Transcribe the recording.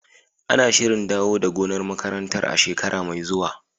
Ana shirin dawo da gonar makarantar a shekara mai zuwa.